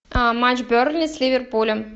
матч бернли с ливерпулем